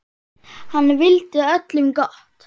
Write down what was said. Hann vildi öllum gott.